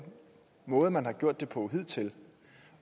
måde man har gjort det på hidtil